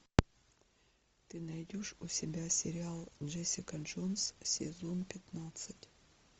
ты найдешь у себя сериал джессика джонс сезон пятнадцать